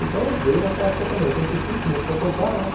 Então, veio nessa época também, oitenta e cinco, comecei a tocar, né?